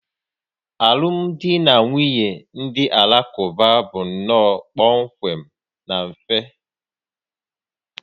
Alụmdi na nwunye ndị Alakụba bụ nnọọ kpọmkwem na mfe